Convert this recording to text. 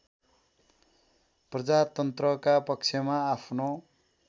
प्रजातन्त्रका पक्षमा आफ्नो